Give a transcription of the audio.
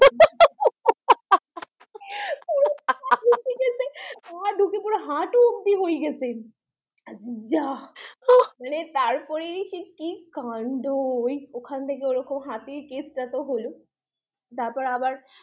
পুরো হাটু অব্দি হই গেছে, যা, উহ তারপর সে কি কাণ্ড ওখান থেকে ওরকম হাতির কেসটা তো হল তারপর আবার